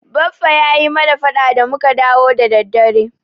Baffa ya yi mana faɗa da muka dawo da daddare.